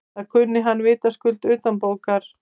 Það kunni hann vitaskuld utanbókar.